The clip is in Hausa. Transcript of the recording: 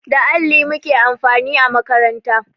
Da alli muke amfani a makaranta